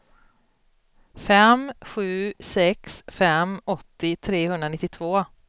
fem sju sex fem åttio trehundranittiotvå